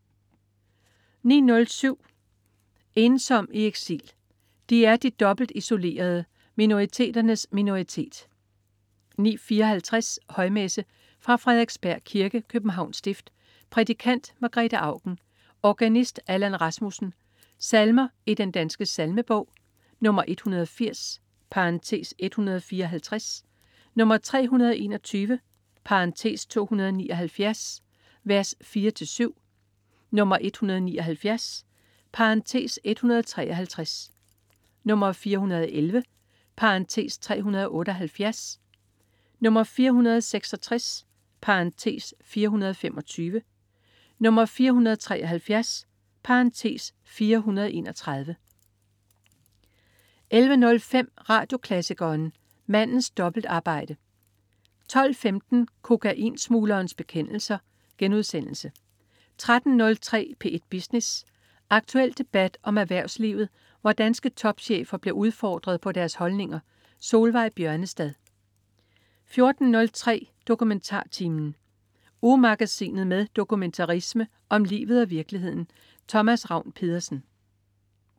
09.07 Ensom i eksil. De er de dobbelt isolerede; minoriteternes minoritet 09.54 Højmesse. Fra Frederiksberg Kirke, Københavns Stift. Prædikant: Margrethe Auken. Organist: Allan Rasmussen. Salmer i Den Danske Salmebog. 180 (154), 321 (279) , v. 4-7, 179 (153), 411 (378), 466 (425), 473 (431) 11.05 Radioklassikeren. Mandens dobbeltarbejde 12.15 Kokain-smuglerens bekendelse* 13.03 P1 Business. Aktuel debat om erhvervslivet, hvor danske topchefer bliver udfordret på deres holdninger. Solveig Bjørnestad 14.03 DokumentarTimen. Ugemagasinet med dokumentarisme om livet og virkeligheden. Thomas Ravn-Pedersen